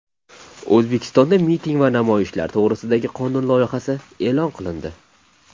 O‘zbekistonda miting va namoyishlar to‘g‘risidagi qonun loyihasi e’lon qilindi.